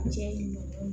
Cɛ ɲuman